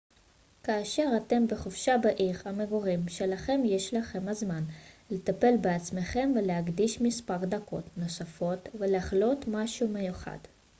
כאשר אתם בחופשה בעיר המגורים שלכם יש לכם הזמן לטפל בעצמכם ולהקדיש מספר דקות נוספות לחלוט משהו מיוחד